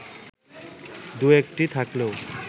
দু-একটি থাকলেও